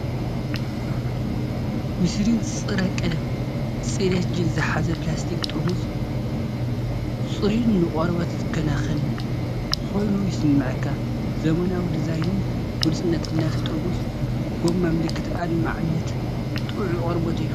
ዩሰሪን ጸረ-ቀለም ጽሬት ጀል ዝሓዘ ፕላስቲክ ጥርሙዝ። ጽሩይን ንቆርበት ዝከናኸንን ኮይኑ ይስምዓካ። ዘመናዊ ዲዛይንን ግሉጽነትን ናይቲ ጥርሙዝ/ ጎማ ምልክት ኣድማዕነትን ጥዑይ ቆርበትን እዩ።